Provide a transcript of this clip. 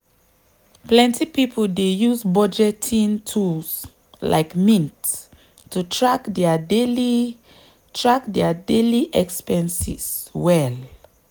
plenty people dey use budgeting tools like mint to track dia daily track dia daily expenses well.